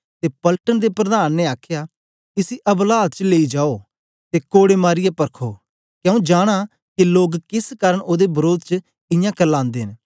ते पलटन दे प्रधान ने आखया इसी अबलात च लेई जाओ ते कोड़े मारीयै परखो के आंऊँ जानां के लोग केस कारन ओदे वरोध च इयां करलांदे न